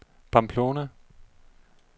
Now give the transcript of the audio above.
Pamplona